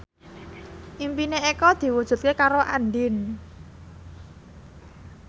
impine Eko diwujudke karo Andien